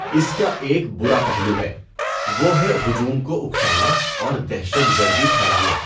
اس کا ایک برا پہلو ہے، وہ ہے ہجوم کو اکسانا اور دہشت گردی پھیلانا۔